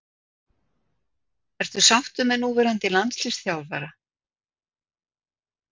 Ertu sáttur með núverandi landsliðsþjálfara?